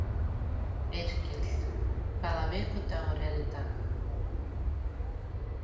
Yrkill, hvaða vikudagur er í dag?